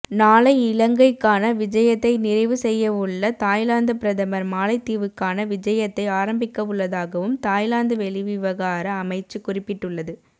நாளை இலங்கைக்கான விஜயத்தை நிறைவு செய்யவுள்ள தாய்லாந்து பிரதமர் மாலைத்தீவுக்கான விஜயத்தை ஆரம்பிக்கவுள்ளதாகவும் தாய்லாந்து வெளிவிவகார அமைச்சு குறிப்பிட்டுள்ளது